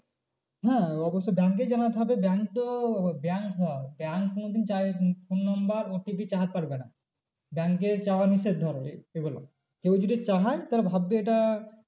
হ্যাঁ অবশ্যই bank এ জানাতে হবে bank তো bank bank কোনোদিন phone number OTP পারবে না। bank এ চাওয়া নিষেধ ধরো এগুলো কেউ যদি চায় তাহলে ভাববে এটা